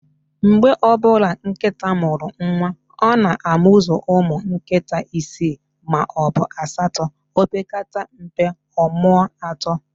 Mgbe ọbụla nkịta mụrụ nwa, ọ na-amuzu ụmụ nkịta isi maọbụ asatọ, opekata mpe, ọmụọ atọ